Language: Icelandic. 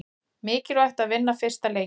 Mikilvægt að vinna fyrsta leikinn